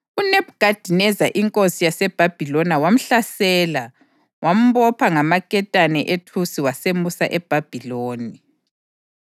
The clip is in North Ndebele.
UNebhukhadineza inkosi yaseBhabhiloni wamhlasela wambopha ngamaketane ethusi wasemusa eBhabhiloni.